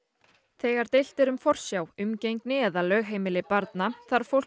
þegar deilt er um forsjá umgengni eða lögheimili barna þarf fólk